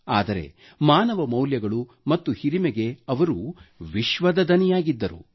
ಆದರೆ ಮಾನವ ಮೌಲ್ಯಗಳು ಮತ್ತು ಹಿರಿಮೆಗೆ ಅವರು ವಿಶ್ವದ ಧ್ವನಿಯಾಗಿದ್ದರು